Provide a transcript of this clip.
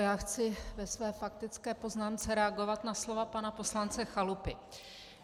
Já chci ve své faktické poznámce reagovat na slova pana poslance Chalupy.